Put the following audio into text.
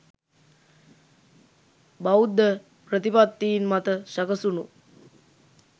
බෞද්ධ ප්‍රතිපත්තීන් මත සැකැසුණු